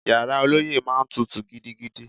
Yàrá ọlọ́yẹ́ máa ń tutù gidigidi